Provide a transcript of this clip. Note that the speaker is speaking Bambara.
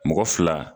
Mɔgɔ fila